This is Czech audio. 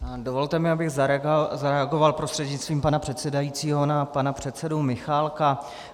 Dovolte mi, abych zareagoval prostřednictvím pana předsedajícího na pana předsedu Michálka.